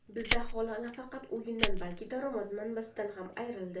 Bizda aholi nafaqat uyidan, balki daromad manbasidan ham ayrildi.